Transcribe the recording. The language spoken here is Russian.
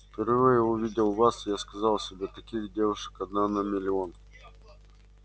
впервые увидев вас я сказал себе таких девушек одна на миллион